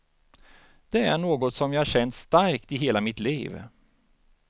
Det är något som jag känt starkt i hela mitt liv.